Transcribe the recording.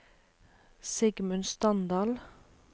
Sigmund Standal